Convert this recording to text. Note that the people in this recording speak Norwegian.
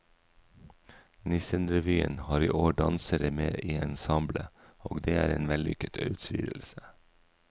Nissenrevyen har i år dansere med i ensemblet, og det er en vellykket utvidelse.